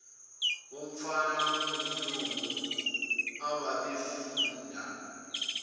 womfana ongumlungu ababefunda